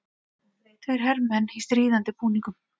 Tveir hermenn í stríðandi búningum.